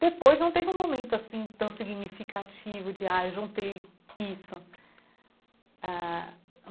Depois não teve um momento assim tão significativo de, ah, juntei isso ãh.